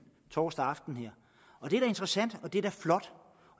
torsdag aften det er da interessant og det er da flot